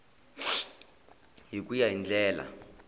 hi ku ya hi ndlela